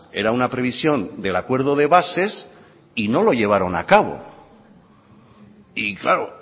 era una previsión del acuerdo de bases y no lo llevaron a cabo y claro